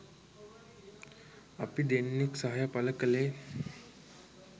අපි දෙන්නෙක් සහය පළ කළේ